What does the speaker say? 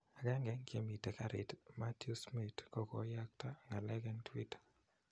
Agenge eng chemiten garit Mathew Smith ko koyakto ngalek eng twitter